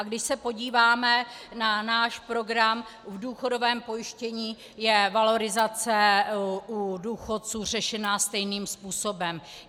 A když se podíváme na náš program, v důchodovém pojištění je valorizace u důchodců řešena stejným způsobem.